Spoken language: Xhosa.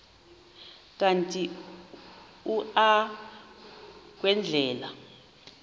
kanti uia kwendela